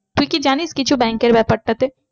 তুই কি জানিস কিছু bank এর ব্যাপারটাতে?